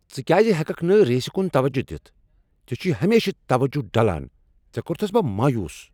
ژٕ کیٛاز ہیٚککھ نہٕ ریسِہ کُن توجہ دتھ؟ ژےٚ چھُے ہمیشہٕ توجہ ڈلان ۔ژےٚ کوٚرتھس بہ مایوس۔